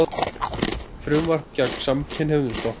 Frumvarp gegn samkynhneigðum stoppað